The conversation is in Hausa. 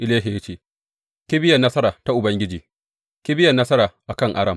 Elisha ya ce, Kibiyar nasara ta Ubangiji, kibiyar nasara a kan Aram!